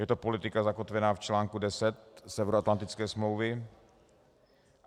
Je to politika zakotvená v článku 10 Severoatlantické smlouvy.